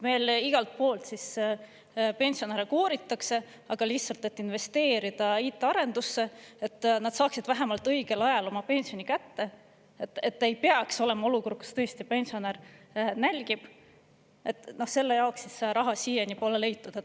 Meil igalt poolt pensionäre kooritakse, aga lihtsalt, et investeerida IT-arendusse, et nad saaksid vähemalt õigel ajal oma pensioni kätte, et ei peaks olema olukord, kus tõesti pensionär nälgib, selle jaoks raha siiani pole leitud.